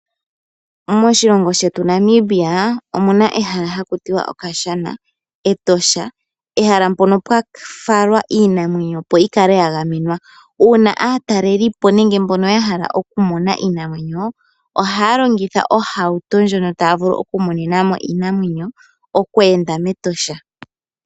Moshilongo shetu Namibia omuna ehala haku tiwa okashana (Etosha), ehala mpono pwa falwa iinamwenyo opo yi kale ya gamenwa. Uuna aatalelipo nenge mbono ya hala oku mona iinamwenyo ohaya longitha ohauto ndjono taya vulu oku monena mo iinamwenyo okweenda mEtosha.